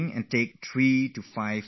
I do deepbreathing